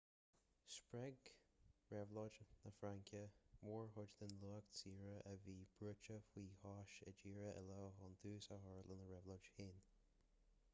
spreag réabhlóid na fraince mórchuid den lucht saothair a bhí brúite faoi chois i dtíortha eile chun tús a chur lena réabhlóidí féin